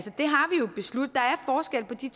de